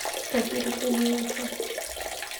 тахира сергеевича